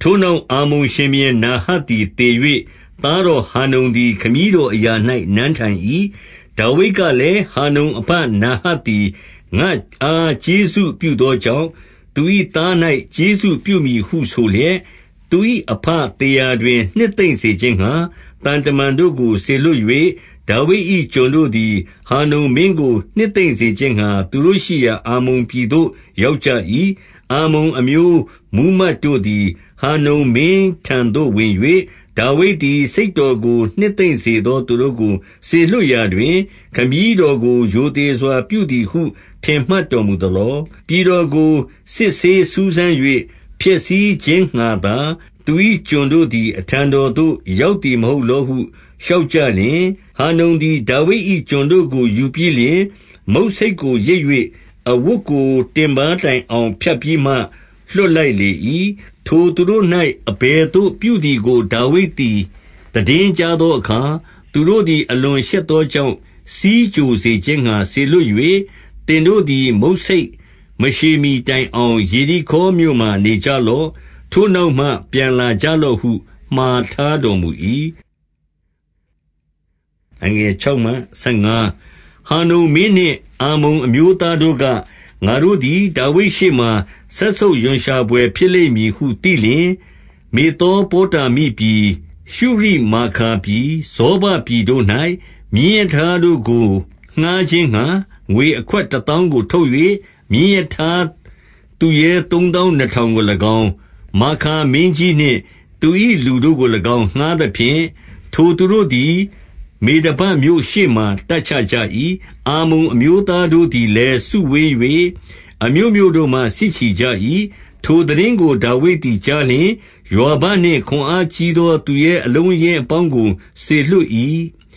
ထိုနောက် အမ္မုန်ရှင်ဘုရင်နာဟတ်သည် သေ၍၊ သားတော်ဟာနုန်သည် ခမည်းတော်အရာ၌ နန်းထိုင်၏။ ဒါဝိဒ်ကလည်း၊ ဟာနုန်အဘ နာဟတ်သည် ငါ့အားကျေးဇူးပြုသောကြောင့်၊ သူ၏သား၌ ကျေးဇူးပြု မည်ဟုဆိုလျက်၊ သူ၏အဘသေရာတွင် နှစ်သိမ့်စေခြင်း ငှါ သံတမန်တို့ကိုစေလွှတ်၍၊ ဒါဝိဒ်၏ကျွန်တို့သည် ဟာနုန်မင်းကို နှစ်သိမ့်စေခြင်းငှါ သူရှိရာ အမ္မုန်ပြည်သို့ ရောက်ကြ၏။ အမ္မုန်အမျိုး မှူးမတ်တို့သည် ဟာနုန်မင်းထံသို့ ဝင်၍၊ ဒါဝိဒ်သည် စိတ်တော်ကို နှစ်သိမ့်စေသောသူတို့ကို စေလွှတ်ရာတွင်၊ ခမည်းတော်ကို ရိုသေစွာပြုသည်ဟု ထင်မှတ်တော်မူသလော။ ပြည်တော်ကို စစ်ဆေးစူး စမ်း၍ ဖျက်ဆီးခြင်းငှါသာ၊ သူ၏ကျွန်တို့သည် အထံတော် သို့ ရောက်သည် မဟုတ်လောဟု လျှောက်ကြလျှင်၊ ဟာနုန်သည် ဒါဝိဒ်၏ ကျွန်တို့ကို ယူပြီးလျှင်၊ မုဆိတ်ကိုရိတ်၍ အဝတ်ကိုတင်ပါးတိုင်အောင်ဖြတ်ပြီးမှ လွှတ်လိုက်လေ၏။ ထိုသူတို့၌ အဘယ်သို့ပြုသည်ကို ဒါဝိဒ်သည် သိတင်းကြားသောအခါ၊ သူတို့သည် အလွန်ရှက်သော ကြောင့် ဆီးကြိုစေခြင်းငှါ စေလွှတ်၍၊ သင်တို့သည် မုဆိတ်မရှည်မှီတိုင်အောင် ယေရိခေါမြို့မှာ နေကြလော့။ ထိုနောက်မှ ပြန်လာကြလော့ဟု မှာထားတော်မူ၏။ ဟာနုန်မင်းနှင့် အမ္မုန်အမျိုးသားတို့က၊ ငါတို့ သည် ဒါဝိဒ်ရှေ့မှာ စက်ဆုပ်ရွံရှာဘွယ်ဖြစ်လိမ့်မည်ဟု သိလျှင်၊ မေသောပေါတာမိပြည်၊ ရှုရိမာခါပြည်၊ ဇောဘပြည်တို့၌ မြင်းရထားတို့ကိုငှါးခြင်းငှါ ငွေအခွက် တသောင်းကို ထုတ်၍၊ မြင်းရထားသူရဲသုံးသောင်းနှစ်ထောင်ကို၎င်း၊ မာခါမင်းကြီးနှင့် သူ၏လူတို့ကို၎င်း ငှါးသဖြင့်၊ ထိုသူတို့ သည် မေဒဘမြို့ရှေ့မှာ တပ်ချကြ၏။ အမ္မုန်အမျိုးသား တို့သည်လည်း စုဝေး၍ အမြို့မြို့တို့မှ စစ်ချီကြ၏။ ထိုသိတင်းကို ဒါဝိဒ်သည် ကြားလျှင် ယွာဘနှင့် ခွန်အားကြီးသော သူရဲအလုံးအရင်းအပေါင်းကို စေလွှတ် ၏